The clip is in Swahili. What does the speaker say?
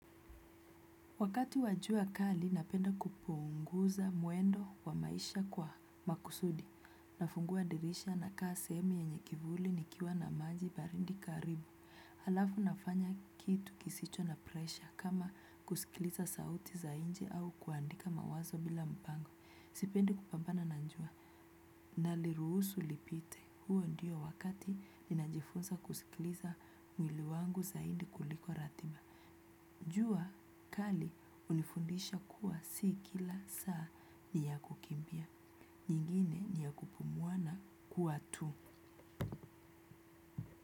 Wakati wa jua kali, napenda kupunguza mwendo wa maisha kwa makusudi. Nafungua dirisha nakaa sehemu yenye kivuli nikiwa na maji baridi karibu. Halafu nafanya kitu kisicho na presha kama kusikiliza sauti za nje au kuandika mawazo bila mpango. Sipendi kupambana na jua. Naliruhusu lipite. Huo ndiyo wakati ninajifunza kusikiliza mwili wangu zaidi kuliko radhima jua kali hunifundisha kuwa si kila saa ya kukimbia ingine ni ya kupumua na kuwa tu.